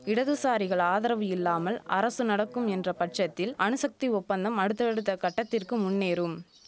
இடதுசாரிகள் ஆதரவு இல்லாமல் அரசு நடக்கும் என்ற பட்சத்தில் அணுசக்தி ஒப்பந்தம் அடுத்தடுத்த கட்டத்திற்கு முன்னேறும்